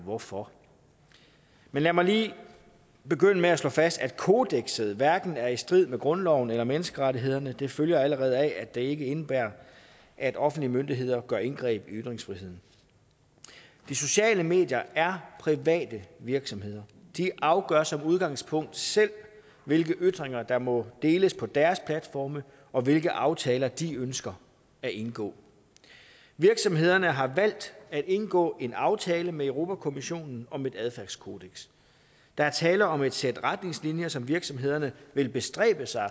hvorfor men lad mig lige begynde med at slå fast at kodekset hverken er i strid med grundloven eller menneskerettighederne det følger allerede af at det ikke indebærer at offentlige myndigheder gør indgreb i ytringsfriheden de sociale medier er private virksomheder de afgør som udgangspunkt selv hvilke ytringer der må deles på deres platforme og hvilke aftaler de ønsker at indgå virksomhederne har valgt at indgå en aftale med europa kommissionen om et adfærdskodeks der er tale om et sæt retningslinjer som virksomhederne vil bestræbe sig